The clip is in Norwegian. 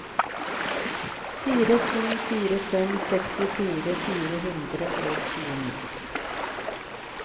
fire to fire fem sekstifire fire hundre og tjueni